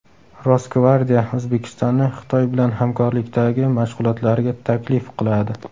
Rosgvardiya O‘zbekistonni Xitoy bilan hamkorlikdagi mashg‘ulotlariga taklif qiladi.